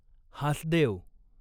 Hasdeo